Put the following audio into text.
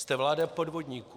Jste vláda podvodníků.